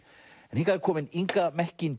hingað er komin Inga